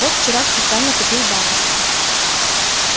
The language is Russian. вот вчера специально купил бабочку